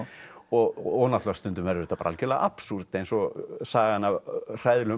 og náttúrulega stundum verður þetta algjörlega absúrd eins og sagan af hræðilegum